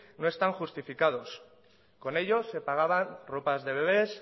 no están justificados con ello se pagaban ropas de bebés